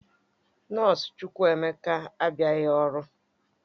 Nọọsụ Chukwuemeka abịaghị ọrụ